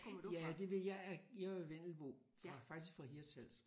Ja det vil jeg jeg er jo vendelbo faktisk fra Hirtshals